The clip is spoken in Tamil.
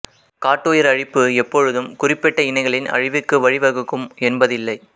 காட்டுயிர் அழிப்பு எப்பொழுதும் குறிப்பிட்ட இனங்களின் அழிவுக்கு வழிவகுக்கும் என்பதில்லை